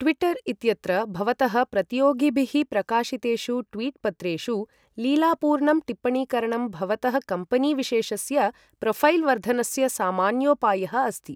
Twitter इत्यत्र भवतः प्रतियोगिभिः प्रकाशितेषु ट्वीट् पत्रेषु लीलापूर्णं टिप्पणीकरणं भवतः कम्पेनी विशेषस्य प्रोऴैल् वर्धनस्य सामान्योपायः अस्ति।